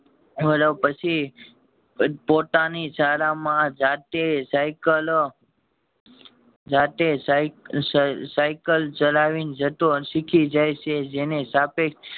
પછી પોતાની જાતે સાયકલ જાતે સાયક આ સાયકલ ચલાવી ને જતો શીખી જાય છે જેને સાપેક્ષ